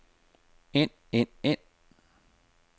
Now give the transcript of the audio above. ind ind ind